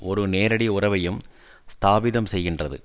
ஒரு நேரடி உறவையும் ஸ்தாபிதம் செய்கின்றது